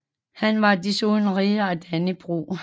Han var desuden Ridder af Dannebrog